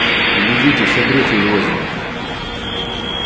глядите все брюхо изрезано